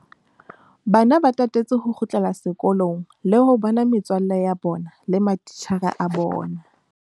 Bana ba tatetse ho kgutlela sekolong le ho bona metswalle ya bona le matitjhere a bona.